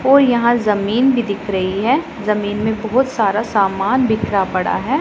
और यहां जमीन भी दिख रही है जमीन में बहुत सारा समान बिखरा पड़ा है।